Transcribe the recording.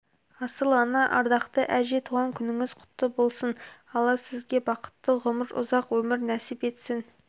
асыл ана ардақты әже туған күніңіз құтты болсын алла сізге бақытты ғұмыр ұзақ өмір нәсіп етсін